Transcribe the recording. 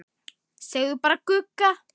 Segja bara Gugga.